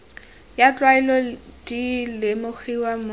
ya tlwaelo di lemogiwa mo